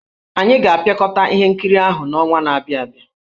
Anyị ga-apịakọta ihe nkiri ahụ n'ọnwa na-abịa abịa.